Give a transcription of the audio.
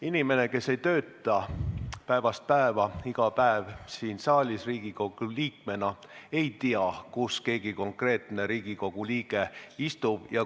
Inimene, kes ei tööta päevast päeva siin saalis Riigikogu liikmena, ei tea, kus keegi konkreetne Riigikogu liige istub.